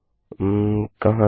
उम कहाँ है ये